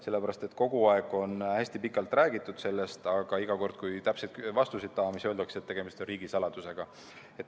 Sellepärast, et kogu aeg on sellest hästi pikalt räägitud, aga iga kord, kui täpseid vastuseid tahame, siis öeldakse, et tegemist on riigisaladusega.